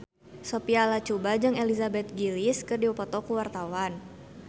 Sophia Latjuba jeung Elizabeth Gillies keur dipoto ku wartawan